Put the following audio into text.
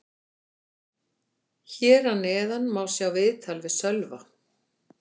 Hér að neðan má sjá viðtal við Sölva.